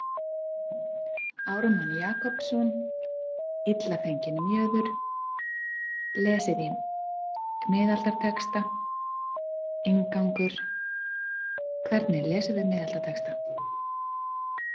Ármann Jakobsson ILLA FENGINN MJÖÐUR Lesið í miðaldatexta Inngangur Hvernig lesum við miðaldatexta?